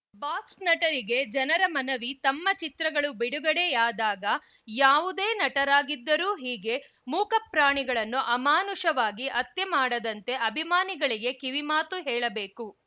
box ನಟರಿಗೆ ಜನರ ಮನವಿ ತಮ್ಮ ಚಿತ್ರಗಳು ಬಿಡುಗಡೆಯಾದಾಗ ಯಾವುದೇ ನಟರಾಗಿದ್ದರೂ ಹೀಗೆ ಮೂಕ ಪ್ರಾಣಿಗಳನ್ನು ಅಮಾನುಷವಾಗಿ ಹತ್ಯೆ ಮಾಡದಂತೆ ಅಭಿಮಾನಿಗಳಿಗೆ ಕಿವಿಮಾತು ಹೇಳಬೇಕು